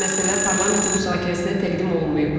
Hazırda məsələ parlamentin müzakirəsinə təqdim olunmayıb.